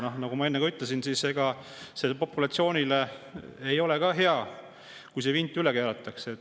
Ja nagu ma enne ütlesin, ega see ei ole populatsioonile ka hea, kui vint üle keeratakse.